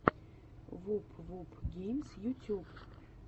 вуп вуп геймс ютюб